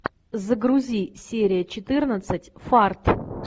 загрузи серия четырнадцать фарт